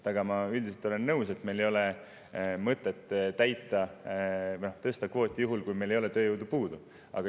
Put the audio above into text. Aga ma üldiselt olen nõus, et meil ei ole mõtet tõsta kvooti, kui meil ei ole tööjõudu puudu.